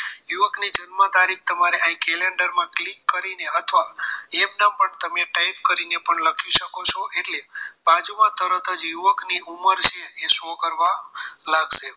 યુવકની જન્મ તારીખ અહીં calendar માં click કરીને અથવા એમનેમ પણ તમે type કરી લખી શકો છો એટલે બાજુમાં તરત જ યુવકની ઉંમર છે એ show કરવા લાગશે